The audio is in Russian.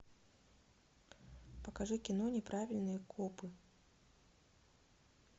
покажи кино неправильные копы